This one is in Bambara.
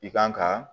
I kan ka